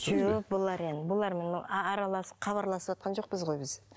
жоқ бұлар енді бұлар мұны араласып хабарласыватқан жоқпыз ғой біз